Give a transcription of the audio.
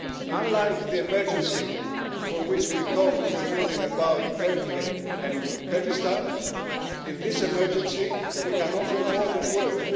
Unlike the emergency room which we talked about in the morning about Turkey and Kurdistan, in this emergency we can offer more than words.